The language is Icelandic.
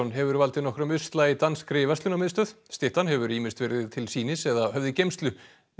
hefur valdið nokkrum usla í danskri verslunarmiðstöð styttan hefur ýmist verið til sýnis eða höfð í geymslu